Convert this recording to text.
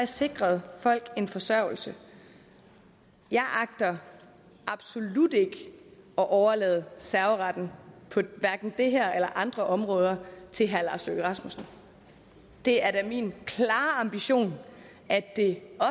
sikret folk en forsørgelse jeg agter absolut ikke at overlade serveretten på hverken det her eller andre områder til herre lars løkke rasmussen det er da min klare ambition at det